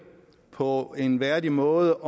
på en værdig måde